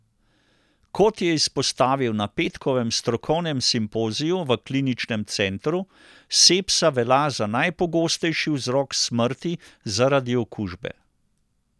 Kot je izpostavil na petkovem strokovnem simpoziju v kliničnem centru, sepsa velja za najpogostejši vzrok smrti zaradi okužbe.